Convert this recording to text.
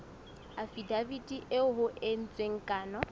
afidaviti eo ho entsweng kano